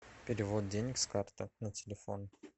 перевод денег с карты на телефон